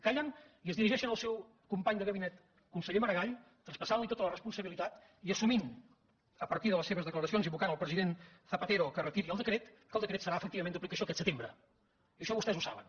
callen i es dirigeixen al seu company de gabinet conseller maragall traspassant li tota la responsabilitat i assumint a partir de les seves declaracions invocant el president zapatero perquè retiri el decret que el decret serà efectivament d’aplicació aquest setembre i això vostès ho saben